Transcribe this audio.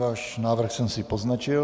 Váš návrh jsem si poznačil.